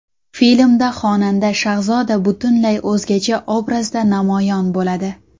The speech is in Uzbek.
Filmda xonanda Shahzoda butunlay o‘zgacha obrazda namoyon bo‘ladi.